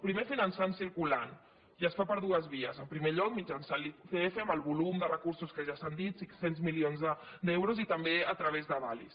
primer finançant circulant i es fa per dues vies en primer lloc mitjançant l’icf amb el volum de recursos que ja s’ha dit cinc cents milions d’euros i també a través d’avalis